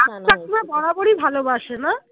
বরাবরই ভালোবাসে না?